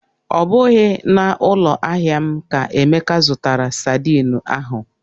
Ọ bụghị na ụloahịa m ka Emeka zụtara sadin ahụ